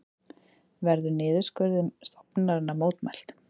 Verður niðurskurði til stofnunarinnar mótmælt